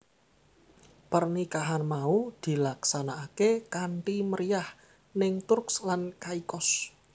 Pernikahan mau dilaksanakaké kanthi meriyah ning Turks lan Caicos